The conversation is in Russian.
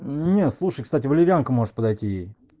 не слушай кстати валерьянка может подойти ей